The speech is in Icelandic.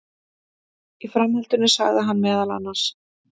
Í framhaldinu sagði meðal annars